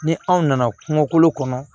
Ni aw nana kungo kɔnɔ